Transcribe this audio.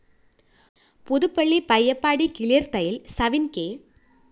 പുതുപ്പള്ളി പയ്യപ്പാടി കിളിര്‍ത്തയില്‍ സവിന്‍ കെ